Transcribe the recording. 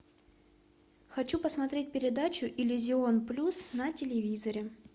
хочу посмотреть передачу иллюзион плюс на телевизоре